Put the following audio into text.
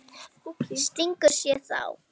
Stingur sér þá.